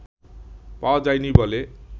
পাওয়া যায়নি বলে